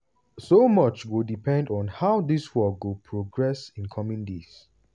so much go depend on how dis war go progress in coming days.